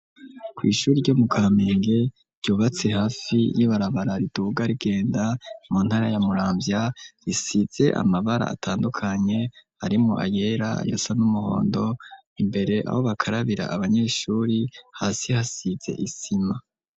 ku ishuri ryo mu kampenge ryubatse hafi y'ibarabara ritubugarigenda mu ntara ya murambya risitze amabara atandukanye arimu ayera yasa n'umuhondo imbere aho bakarabira abanyeshuri hasi hasize isima